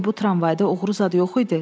Bəlkə bu tramvayda oğuru zad yox idi.